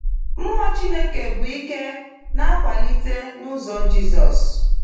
Mmụọ Chineke bụ ike na-akwalite n’ụzọ Jizọs.